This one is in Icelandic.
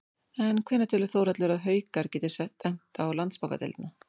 En hvenær telur Þórhallur að Haukar geti stefnt á Landsbankadeildina?